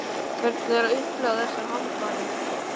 Hvernig er að upplifa þessar hamfarir?